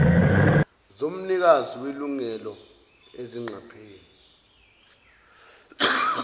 zomnikazi welungelo izingqapheli